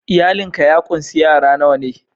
Iyalin ka ya kunsi yara nawa??